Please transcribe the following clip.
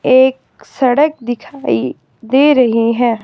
एक सड़क दिखाई दे रही हैं।